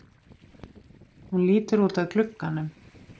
Hún lítur út að glugganum.